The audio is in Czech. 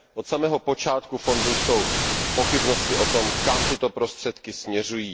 Od samého počátku fondu jsou pochybnosti o tom, kam tyto prostředky směřují.